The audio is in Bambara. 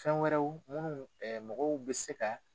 Fɛn wɛrɛw minnu mɔgɔw bɛ se ka